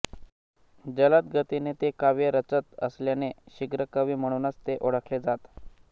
जलद गतीने ते काव्य रचत असल्याने शीघ्रकवी म्हणूनच ते ओळखले जात